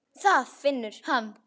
Það finnur hann.